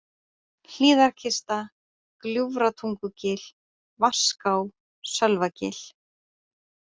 Hlíðarkista, Gljúfratungugil, Vaská, Sölvagil